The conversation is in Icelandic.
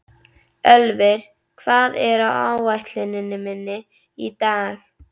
Ölvir, hvað er á áætluninni minni í dag?